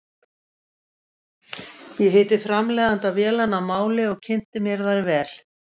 Ég hitti framleiðanda vélanna að máli og kynnti mér þær vel.